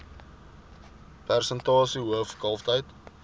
persentasie hoof kalftyd